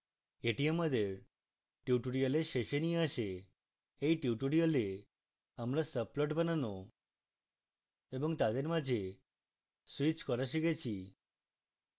এই আমাদের tutorial শেষে নিয়ে আসে